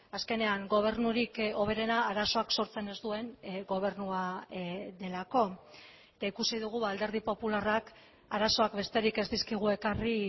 azkenean gobernurik hoberena arazoak sortzen ez duen gobernua delako eta ikusi dugu alderdi popularrak arazoak besterik ez dizkigu ekarri